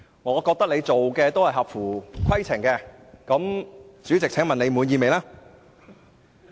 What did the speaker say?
我認為你的行事均合乎規程，請問你滿意嗎？